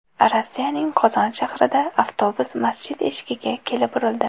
Rossiyaning Qozon shahrida avtobus masjid eshigiga kelib urildi.